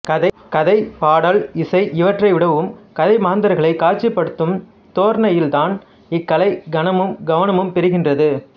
கதை பாடல் இசை இவற்றைவிடவும் கதை மாந்தர்களைக் காட்சிப்படுத்தும் தோரணையில்தான் இக்கலை கனமும் கவனமும் பெறுகின்றது